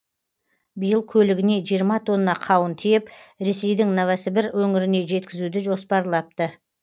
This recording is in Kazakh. биыл көлігіне жиырма тонна қауын тиеп ресейдің новосібір өңіріне жеткізуді жоспарлапты